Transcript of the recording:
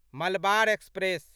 Malabar express